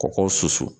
Kɔkɔ susu